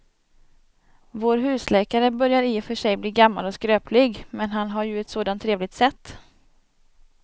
Vår husläkare börjar i och för sig bli gammal och skröplig, men han har ju ett sådant trevligt sätt!